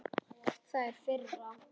Það er firra.